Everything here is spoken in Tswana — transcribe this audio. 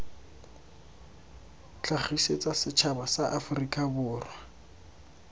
tlhagisetsa setšhaba sa aforika borwa